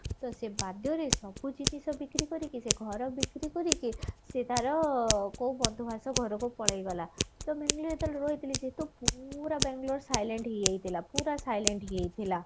ତ ସେ ବାଧ୍ୟରେ ସବୁ ଜିନିଷ ବିକ୍ରି କରିକି ସେ ଘର ବିକ୍ରି କରିକି ସେ ତାର କୋଉ ଘରକୁ ପଳେଇ ଗଲା ପୁରା ବାଙ୍ଗେଲୋର silent ହେଇ ଯାଇଥିଲା ପୁରା silent ହେଇ ଯାଇଥିଲା